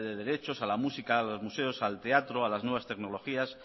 de derechos a la música a los museos al teatro a las nuevas tecnologías